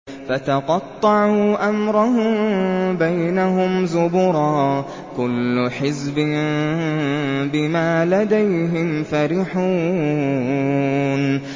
فَتَقَطَّعُوا أَمْرَهُم بَيْنَهُمْ زُبُرًا ۖ كُلُّ حِزْبٍ بِمَا لَدَيْهِمْ فَرِحُونَ